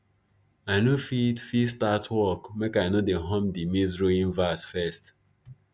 i no fit fit start work makei no dey hum de maizerowing verse first